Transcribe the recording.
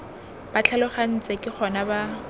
ba tlhalogantse ke gona ba